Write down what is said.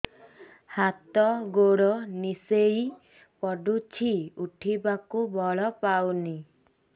ହାତ ଗୋଡ ନିସେଇ ପଡୁଛି ଉଠିବାକୁ ବଳ ପାଉନି